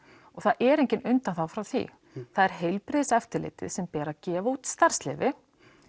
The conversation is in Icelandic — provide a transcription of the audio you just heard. og það er engin undanþága frá því það er heilbrigðiseftirlitið sem ber að gefa út starfsleyfi